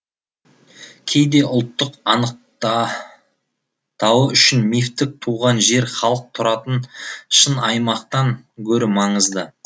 кейде ұлттық анықтауы үшін мифтік туған жер халық тұратын шын аймақтан гөрі маңызды